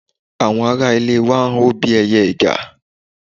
Àwọn ará ilé wa ń hó bí ẹyẹ ẹ̀gà